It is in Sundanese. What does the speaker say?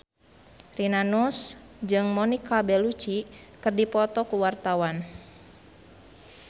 Rina Nose jeung Monica Belluci keur dipoto ku wartawan